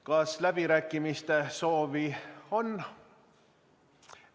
Kas läbirääkimiste soovi on?